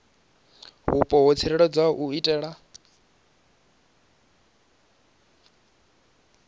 vhupo ho tsireledzeaho u itela